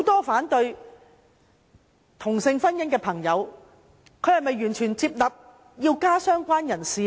反對同性婚姻的朋友是否完全接納加入"相關人士"呢？